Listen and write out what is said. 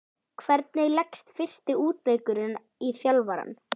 Hvernig leggst fyrsti útileikurinn í þjálfarann?